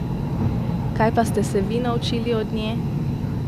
Kaj pa ste se vi naučili od nje?